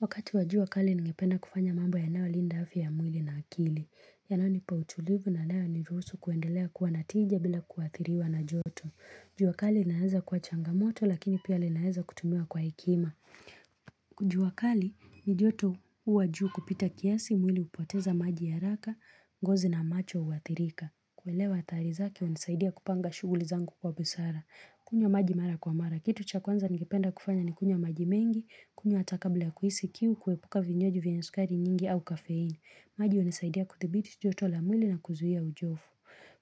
Wakati wa jua kali ninapenda kufanya mambo yanayolinda afya mwili na akili. Yanayonipa utulivu na yanayoniruhusu kuendelea kua na tija bila kuathiriwa na joto jua kali inaweza kua changamoto lakini pia linaeza kutumiwa kwa hekima. Jua kali ni joto kua juu kupita kiasi mwili hupoteza maji haraka, gozi na macho huathirika. Kuelewa athari zake hunisaidia kupanga shuguli zangu kwa busara. Kunywa maji mara kwa mara. Kitu cha kwanza ngependa kufanya ni kunya maji mengi, kunya hata kabla kuhisi kiu, kuepuka vinywaji vienye sukari nyingi au kafein. Maji hunisaidia kudhibiti joto la mwili na kuzuia uchovu.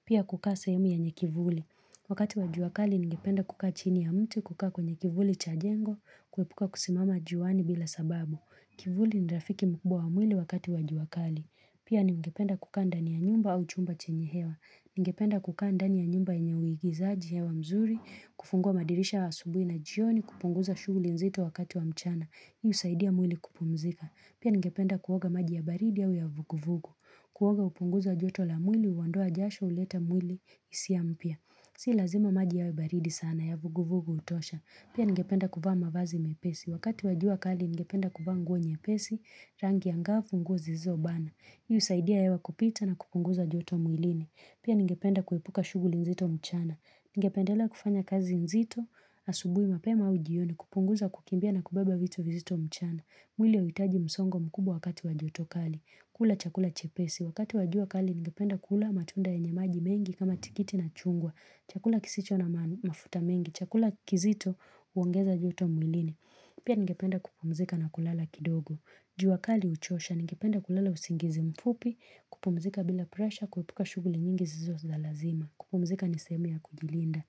Pia kukaa sehemu yenye kivuli. Wakati wa jua kali ningependa kukaa chini ya mti, kukaa kwenye kivuli cha jengo, kuepuka kusimama juani bila sababu. Kivuli ni rafiki mkubwa wa mwili wakati wa jua kali. Pia ningependa kukaa ndani ya nyumba au chumba chenye hewa. Ningependa kukaa ndani ya nyumba yenye uigizaji hewa mzuri, kufungua madirisha asubuhi na jioni, kupunguza shughuli nzito wakati wa mchana. Hii husaidia mwili kupumzika. Pia ningependa kuoga maji ya baridi au ya vuguvugu. Kuoga hupunguza joto la mwili, huondoa jasho, huleta mwili hisia mpya. Si lazima maji yawe baridi sana ya vuguvugu hutosha. Pia ningependa kuvaa mavazi mepesi. Wakati wa jua kali ningependa kuvaa nguo nyepesi, rangi angaa, funguo zilizobana. Hii husaidia hewa kupita na kupunguza joto mwilini. Pia ningependa kuepuka shughuli nzito mchana. Ningependela kufanya kazi nzito, asubuhi mapema au jioni, kupunguza kukimbia na kubeba vitu vizito mchana. Mwili hauhitaji msongo mkubwa wakati wa joto kali. Kula chakula chepesi. Wakati wa jua kali ningependa kula matunda yenye maji mengi kama tikiti na chungwa. Chakula kisicho na mafuta mengi. Chakula kizito huongeza joto mwilini. Pia ningependa kupumzika na kulala kidogo. Jua kali huchosha, ningependa kulala usingizi mfupi, kupumzika bila presha, kuepuka shughuli nyingi zisizo za lazima. Kupumzika ni sehemu ya kujilinda.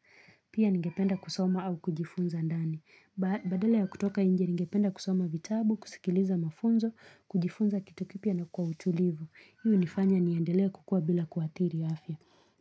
Pia ningependa kusoma au kujifunza ndani. Badala ya kutoka nje ningependa kusoma vitabu, kusikiliza mafunzo, kujifunza kitu kipya na kwa utulivu. Hii hunifanya niendelea kukua bila kuathiri afya.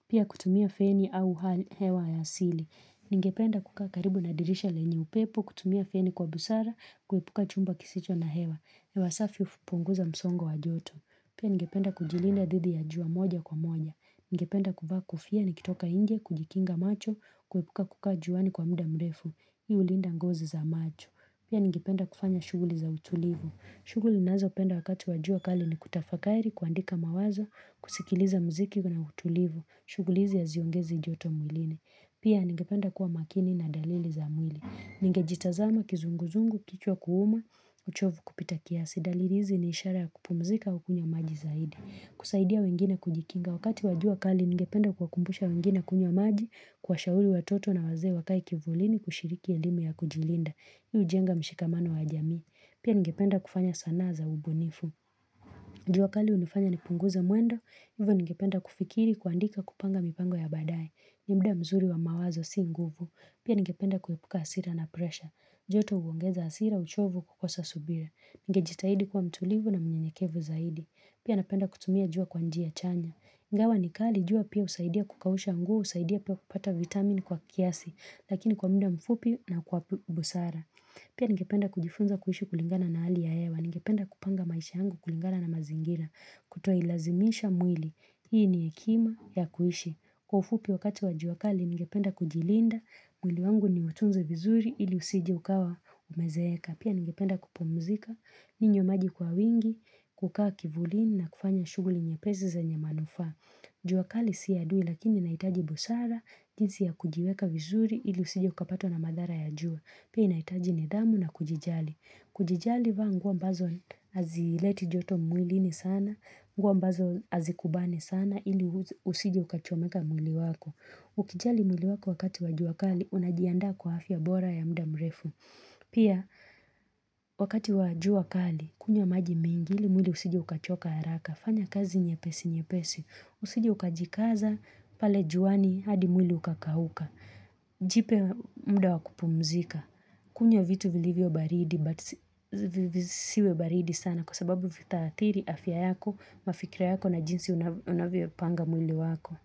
Pia kutumia feni au hewa ya asili. Ningependa kukaa karibu na dirisha lenye upepo, kutumia feni kwa busara, kuepuka chumba kisicho na hewa. Hewa safi hupunguza msongo wa joto. Pia ningependa kujilinda dhidi ya jua moja kwa moja. Ningependa kuvaa nikitoka nje, kujikinga macho, kuepuka kukaa juani kwa muda mrefu. Hii hulinda ngozi za macho. Pia ningependa kufanya shughuli za utulivu. Shughuli ninazopenda wakati wa jua kali ni kutafakari, kuandika mawazo, kusikiliza muziki na utulivu. Shughuli hizi haziongezi joto mwilini. Pia ningependa kuwa makini na dalili za mwili. Ningejitazama, kizunguzungu, kichwa kuuma, uchovu kupita kiasi. Dalili hizi ni ishara ya kupumzika au kunywa maji zaidi. Kusaidia wengine kujikinga, wakati wa jua kali ningependa kuwakumbusha wengine kunywa maji, kuwashauri watoto na wazee wakae kivulini kushiriki elimu ya kujilinda. Hii hujenga mshikamano wa jamii Pia ningependa kufanya sanaa za ubunifu. Jua kali hunifanya nipunguze mwendo. Hivyo ningependa kufikiri kuandika, kupanga mipango ya baadaye. Ni muda mzuri wa mawazo si nguvu Pia ningependa kuepuka hasira na presha. Joto huongeza hasira, uchovu, kukosa subira. Ningejitahidi kuwa mtulivu na mnyenyekevu zaidi. Pia napenda kutumia jua kwa njia chanya. Ingawa ni kali jua pia husaidia kukausha nguo, husaidia pia kupata vitamin kwa kiasi, lakini kwa muda mfupi na kwa busara. Pia ningependa kujifunza kuhishi kulingana na hali ya hewa. Ningependa kupanga maisha yangu kulingana na mazingira, kutoilazimisha mwili. Hii ni ekima ya kuhishi. Kwa ufupi wakati wa jua kali, ningependa kujilinda, mwili wangu niutunze vizuri ili usije ukawa umezeeka. Pia ningependa kupumzika, ninywe maji kwa wingi, kukaa kivulini na kufanya shughuli nyepesi zenye manufaa. Jua kali si adui lakini inahitaji busara, jinsi ya kujiweka vizuri ili usije ukapatwa na madhara ya jua. Pia inahitaji nidhamu na kujijali. Kujijali vaa nguo ambazo hazileti joto mwilini sana, nguo ambazo hazikubani sana ili usije ukachomeka mwili wako. Ukijali mwili wako wakati wa jua kali, unajiandaa kwa afya bora ya muda mrefu. Pia wakati wa jua kali kunywa maji mengi ili mwili usije ukachoka haraka. Fanya kazi nyepesi nyepesi. Usije ukajikaza pale juani hadi mwili ukakauka Jipe muda wa kupumzika. Kunywa vitu vilivyo baridi but zisiwe baridi sana kwa sababu vitaathiri afya yako mafikiria yako na jinsi unavyopanga mwili wako.